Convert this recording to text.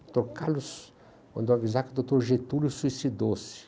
Doutor Carlos, mandou eu avisar que o doutor Getúlio suicidou-se.